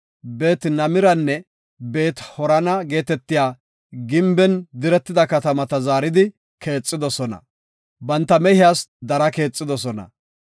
Beet-Nimiranne Beet-Harana geetetiya gimben diretida katamata zaaridi keexidosona; banta mehiyas dara keexidosona.